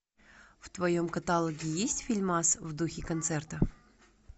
в твоем каталоге есть фильмас в духе концерта